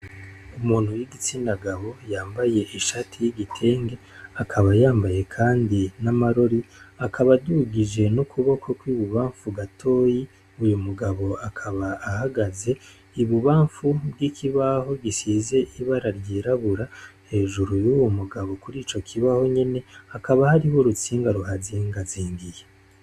Umuntu w'igitsinagabo yambaye ishati y'igitenge akaba yambaye, kandi n'amarori akaba adugije n'ukuboko kw'i bubamfu gatoyi uyu mugabo akaba ahagaze ibubamfu bw'ikibaho gisize ibara ryirabura hejuru y'uwu mugabo kuri ico kibaho nyene hakaba hariho urutsinga ruhazinga azingiye.